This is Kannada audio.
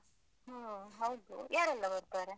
ಹು. ಹೌದು. ಯಾರೆಲ್ಲ ಬರ್ತಾರೆ?